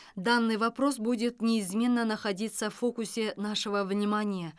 данный вопрос будет неизменно находиться в фокусе нашего внимания